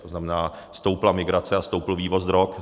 To znamená, stoupla migrace a stoupl vývoz drog.